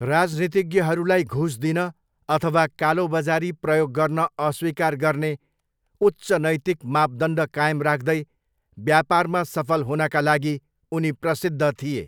राजनीतिज्ञहरूलाई घुस दिन अथवा कालोबजारी प्रयोग गर्न अस्वीकार गर्ने उच्च नैतिक मापदण्ड कायम राख्दै व्यापारमा सफल हुनका लागि उनी प्रसिद्ध थिए।